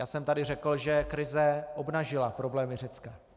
Já jsem tady řekl, že krize obnažila problémy Řecka.